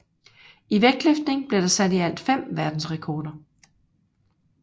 I vægtløftning blev der sat i alt 5 verdensrekorder